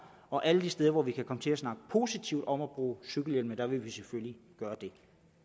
og alle de steder hvor vi kan komme til at snakke positivt om at bruge cykelhjelm vil vi selvfølgelig gøre det